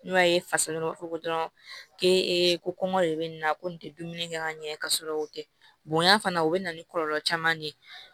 N'o ye fasadon b'a fɔ ko dɔrɔn k'e ko kɔngɔ de be nin na ko nin te dumuni kɛ ka ɲɛ ka sɔrɔ o tɛ bonya fana o bɛ na ni kɔlɔlɔ caman de ye